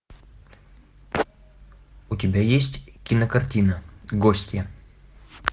у тебя есть кинокартина гостья